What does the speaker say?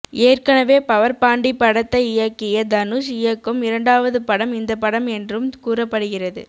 ஏற்கனவே பவர் பாண்டி படத்தை இயக்கிய தனுஷ் இயக்கும் இரண்டாவது படம் இந்த படம் என்றும் கூறப்படுகிறது